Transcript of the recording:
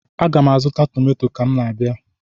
Aga m azụ tọmtọm ka m na-abịa.